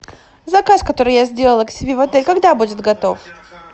заказ который я сделала к себе в отель когда будет готов